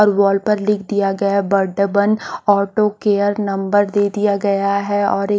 और वॉल पर लिख दिया गया है बर्थडे बंद ऑटो केयर नंबर दे दिया गया है और एक--